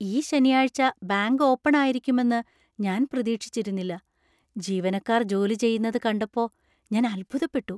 ഈ ശനിയാഴ്ച bank open ആയിരിക്കുമെന്ന് ഞാൻ പ്രതീക്ഷിച്ചിരുന്നില്ല, ജീവനക്കാർ ജോലി ചെയ്യുന്നത് കണ്ടപ്പോ ഞാൻ അത്ഭുതപ്പെട്ടു.